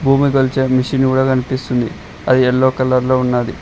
భూమి కొలిచే మిషిను గుడా కనిపిస్తుంది అది యెల్లో కలర్ లో ఉన్నది.